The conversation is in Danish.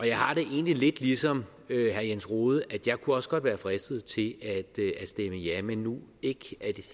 jeg har det egentlig lidt ligesom herre jens rohde jeg kunne også godt være fristet til at stemme ja men nu ikke